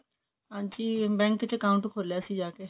ਹਾਂਜੀ bank ਚ account ਖੋਲਿਆ ਸੀ ਜਾਕੇ